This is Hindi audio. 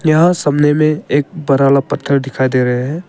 यहां सामने में एक बड़ा वाला पत्थर दिखाई दे रहा है